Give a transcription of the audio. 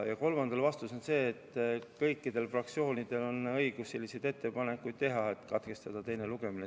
Ja kolmandale vastus on see, et kõikidel fraktsioonidel on õigus teha ettepanek teine lugemine katkestada.